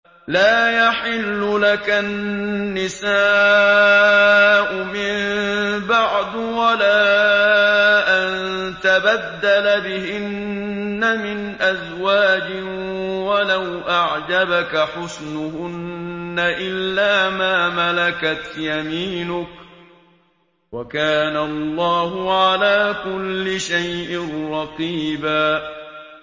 لَّا يَحِلُّ لَكَ النِّسَاءُ مِن بَعْدُ وَلَا أَن تَبَدَّلَ بِهِنَّ مِنْ أَزْوَاجٍ وَلَوْ أَعْجَبَكَ حُسْنُهُنَّ إِلَّا مَا مَلَكَتْ يَمِينُكَ ۗ وَكَانَ اللَّهُ عَلَىٰ كُلِّ شَيْءٍ رَّقِيبًا